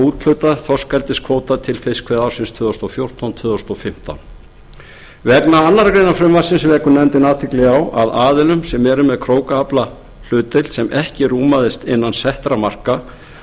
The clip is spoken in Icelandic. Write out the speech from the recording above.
úthluta þorskeldiskvóta til fiskveiðiársins tvö þúsund og fjórtán tvö þúsund og fimmtán vegna annarrar greinar frumvarpsins vekur nefndin athygli á að aðilum sem eru með krókaflahlutdeild sem ekki rúmaðist innan settra marka